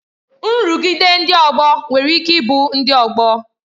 Nrụgide ndị ọgbọ nwere ike ịbụ ndị ọgbọ